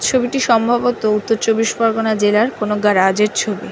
ছবিটি সম্ভবত উত্তর চব্বিশ পরগনা জেলার কোন গ্যারাজ এর ছবি